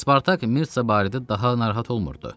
Spartak Mirtsa barədə daha narahat olmurdu.